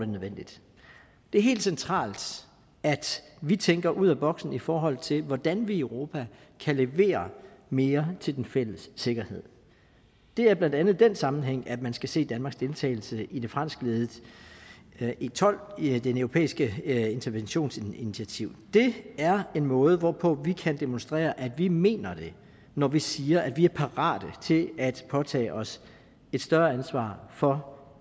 nødvendigt det er helt centralt at vi tænker ud af boksen i forhold til hvordan vi i europa kan levere mere til den fælles sikkerhed det er blandt andet i den sammenhæng at man skal se danmarks deltagelse i det franskledede e12 i det europæiske interventionsinitiativ det er en måde hvorpå vi kan demonstrere at vi mener det når vi siger at vi er parate til at påtage os et større ansvar for